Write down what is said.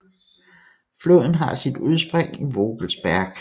Floden har sit udspring i Vogelsberg